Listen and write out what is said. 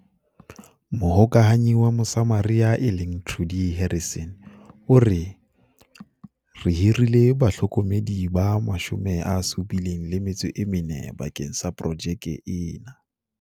Mohokahanyi wa Mosama ria e leng Trudie Harrison o re, "Re hirile bahlokomedi ba 74 bakeng sa projeke ena."